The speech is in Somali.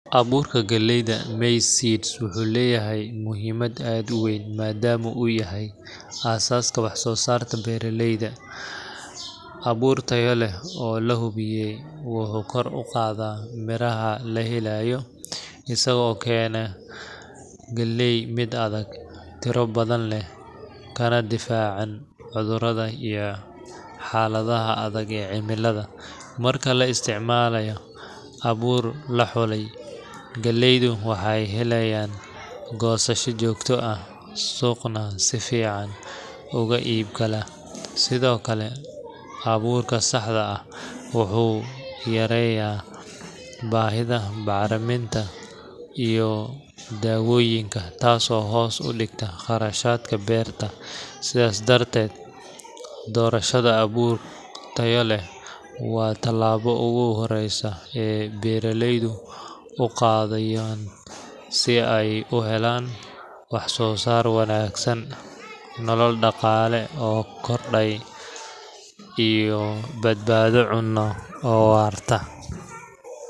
Abuurka galeyda maize seeds wuxuu leeyahay muhiimad aad u weyn maadaama uu yahay aasaaska wax-soo-saarta beeraleyda. Abuur tayo leh oo la hubiyey wuxuu kor u qaadaa miraha la helayo, isagoo keena galey mid adag, tiro badan leh, kana difaacan cudurrada iyo xaaladaha adag ee cimilada. Marka la isticmaalo abuur la xulay, galeyda waxay helayaan goosasho joogto ah, suuqna si fiican uga iibgala. Sidoo kale, abuurka saxda ah wuxuu yareynayaa baahida bacriminta iyo dawooyinka, taasoo hoos u dhigta kharashaadka beerta. Sidaas darteed, doorashada abuur tayo leh waa tallaabo ugu horreysa ee beeraleydu u qaadayaa si ay u helaan wax-soo-saar wanaagsan, nolol dhaqaale oo korodhay, iyo badbaado cunno oo waarta.